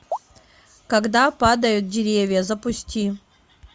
когда падают деревья запусти